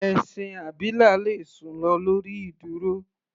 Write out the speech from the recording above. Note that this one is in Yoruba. Ẹṣin abilà le sùn lọ lórí ìdúró.